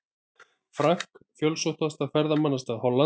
Frank, fjölsóttasta ferðamannastað Hollands.